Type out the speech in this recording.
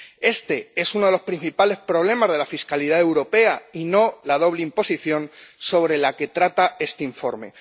Este es uno de los principales problemas de la fiscalidad europea, y no la doble imposición sobre la que trata este informe.